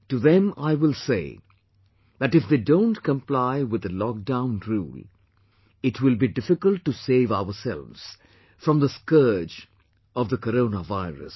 To them I will say that if they don't comply with the lockdown rule, it will be difficult to save ourselves from the scourge of the Corona virus